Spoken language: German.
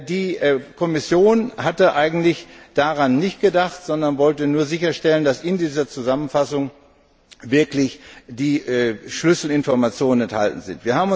Die Kommission hatte daran eigentlich nicht gedacht, sondern wollte nur sicherstellen, dass in dieser Zusammenfassung wirklich die Schlüsselinformationen enthalten sind.